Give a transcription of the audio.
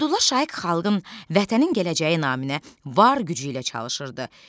Abdullah Şaiq xalqın, vətənin gələcəyi naminə var gücü ilə çalışırdı.